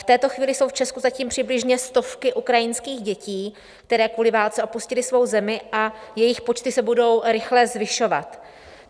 V této chvíli jsou v Česku zatím přibližně stovky ukrajinských dětí, které kvůli válce opustily svou zemi, a jejich počty se budou rychle zvyšovat.